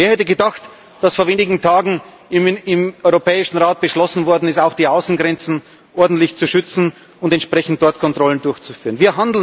Wer hätte gedacht, dass vor wenigen Tagen im Europäischen Rat beschlossen worden ist, auch die Außengrenzen ordentlich zu schützen und entsprechend dort Kontrollen durchzuführen?